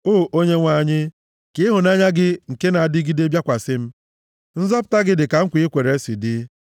O Onyenwe anyị, ka ịhụnanya gị nke na-adịgide bịakwasị m, nzọpụta gị dịka nkwa i kwere si dị;